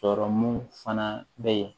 Sɔrɔmu fana bɛ yen